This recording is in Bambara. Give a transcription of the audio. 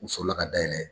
U sɔrɔla ka dayɛlɛ